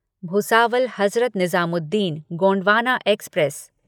Bhusawal Hazrat Nizamuddin Gondwana express